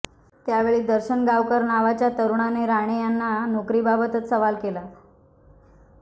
त्यावेळी दर्शन गावकर नावाच्या तरुणाने राणे यांना नोकरीबाबतचा सवाल केला